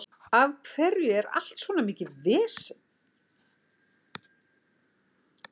Af hverju er allt svona mikið vesen?